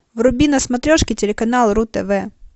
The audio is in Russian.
вруби на смотрешке телеканал ру тв